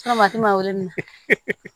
mali minɛ